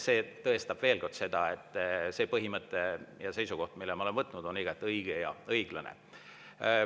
See tõestab veel kord seda, et see seisukoht, mille ma olen võtnud, on igati õige ja õiglane.